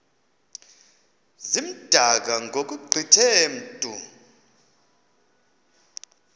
zimdaka ngokugqithe mntu